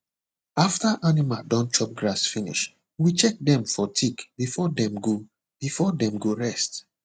after animal don chop grass finish we check dem for tick before dem go before dem go rest